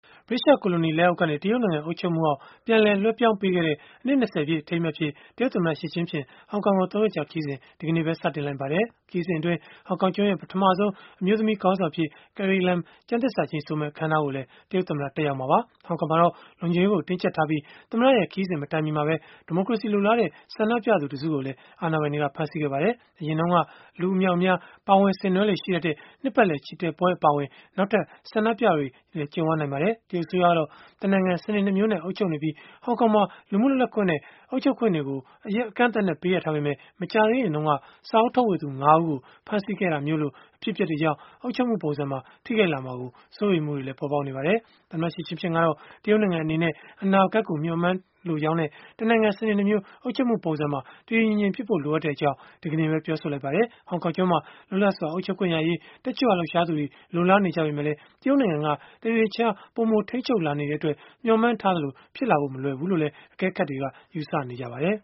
ဗြိတိသျှ ကိုလိုနီလက်အောက်ကနေ တရုတ်နိုင်ငံ အုပ်ချုပ်မှုအောက် ပြန်လည်လွဲှပြောင်းပေးခဲ့တဲ့ အနှစ် ၂၀ ပြည့် အထိမ်းအမှတ်အဖြစ် တရုတ်သမ္မတ Xi Jinping ဟောင်ကောင်ကို ၃ ရက်ကြာ ခရီးစဉ် ဒီကနေ့ စတင်လိုက်ပါတယ်။ ခရီးစဉ်အတွင်း ဟောင်ကောင်ကျွန်းရဲ့ ပထမဆုံး အမျိုးသမီး ခေါင်းဆောင်အဖြစ် Carrie Lam ကျမ်းသစ္စာကျိန်ဆိုမယ့် အခန်းအနားကိုလည်း တရုတ်သမ္မတ တက်ရောက်မှာပါ။ ဟောင်ကောင်မှာတော့ လုံခြုံရေးကို တင်းကြပ်ထားပြီး၊ တရုတ်သမ္မတရဲ့ ခရီးစဉ်မတိုင်မီမှာပဲ ဒီမိုကရေစီ လိုလားတဲ့ ဆန္ဒပြခဲ့ကြသူ တစုကိုလည်း အာဏာပိုင်တွေက ဖမ်းဆီးခဲ့ပါတယ်။ အရင်တုန်းက လူအမြောက်အများ ပါဝင်ဆင်နွှဲလေ့ ရှိတတ်တဲ့ နှစ်ပတ်လည် ချီတက်ပွဲ အပါအဝင် နောက်ထပ် ဆန္ဒပြပွဲတွေလည်း ကြုံရနိုင်ပါတယ်။ တရုတ်အစိုးရကတော့ တနိုင်ငံ စနစ် ၂ မျိုးနဲ့ အုပ်ချုပ်နေပြီး၊ ဟောင်ကောင်မှာ လူမှုလွတ်လပ်ခွင့်နဲ့ အုပ်ချုပ်ခွင့်တွေကို အကန့်အသတ်နဲ့ ပေးအပ်ထားပေမဲ့၊ မကြာသေးခင်တုန်းက စာအုပ်ထုတ်ဝေသူ ၅ ဦးကို ဖမ်းဆီးခဲ့တာလို အဖြစ်အပျက်တွေကြောင့် အုပ်ချုပ်မှုပုံစံကို ထိခိုက်လာမှာ စိုးရိမ်မှုတွေလည်း ပေါ်ပေါက်လာခဲ့တာပါ။ သမ္မတ Xi Jinping ကတော့ တရုတ်နိုင်ငံ အနေနဲ့ အနာဂတ်ကို မျှော်မှန်းလိုကြောင်းနဲ့၊ တနိုင်ငံ စနစ် ၂ မျိုး အုပ်ချုပ်မှုပုံစံကို တည်တည်ငြိမ်ငြိမ်ဖြစ်ဖို့ လိုအပ်ကြောင်း ဒီကနေ့ပဲ ပြောဆိုလိုက်ပါတယ်။ ဟောင်ကောင်ကျွန်းမှာ လွတ်လပ်စွာ အုပ်ချုပ်ခွင့်ရရေး တက်ကြွလှုပ်ရှားသူတွေ လိုလားနေကြပေမဲ့ တရုတ်နိုင်ငံက တနေ့တခြားပိုမို ထိန်းချုပ်လာနေတဲ့အတွက် မျှော်မှန်းထားသလို ဖြစ်လာဖို့ မလွယ်ဘူးလို့လည်း အကဲခတ်တွေက ယူဆနေကြပါတယ်။